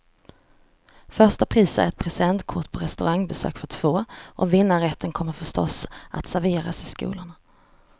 Första pris är ett presentkort på restaurangbesök för två, och vinnarrätten kommer förstås att serveras i skolorna.